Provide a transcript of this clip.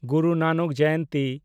ᱜᱩᱨᱩ ᱱᱟᱱᱚᱠ ᱡᱚᱭᱚᱱᱛᱤ